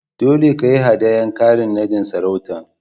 Dolle ka yi hadayan karin nadin sarautan.